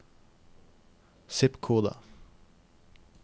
zip-kode